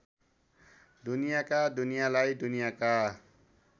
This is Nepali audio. दुनियाका दुनियालाई दुनियाका